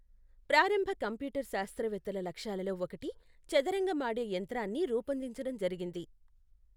ప్రారంభ కంప్యూటర్ శాస్త్రవేత్తల లక్ష్యాలలో ఒకటి చదరంగం ఆడే యంత్రాన్ని రూపొందించడం జరిగింది.